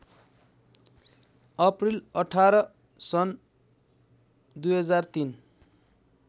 April १८ सन् २००३